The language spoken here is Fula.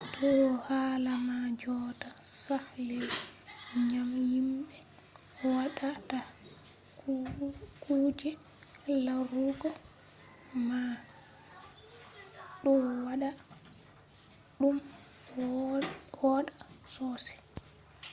ɗo hala man jotta saklai ngam himɓe waɗata kuje larugo man ɗo waɗa ɗum wooɗa sosai